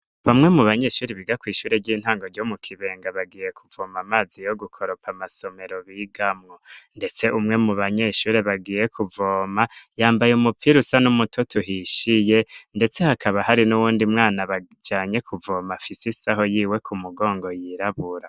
Bamwe mu banyeshure biga kw'ishure ry'intango ryo mu Kibenga bagiye kuvoma amazi yo gukoropa amasomero bigamwo ndetse umwe mu banyeshure bagiye kuvoma yambaye umupira usa n'umutoto uhishiye ndetse hakaba hari n'uwundi mwana bajanye kuvoma afise isaho yiwe ku mugongo yirabura.